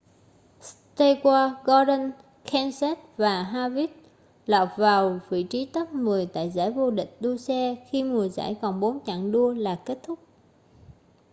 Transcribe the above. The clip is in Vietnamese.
stewart gordon kenseth và harvick lọt vào vị trí top mười tại giải vô địch đua xe khi mùa giải còn bốn chặng đua là kết thúc